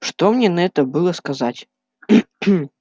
что мне на это было сказать